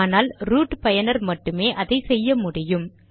ஆனால் ரூட் பயனர் மட்டுமே அதை செய்ய முடியும்